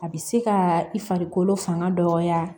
A bɛ se ka i farikolo fanga dɔgɔya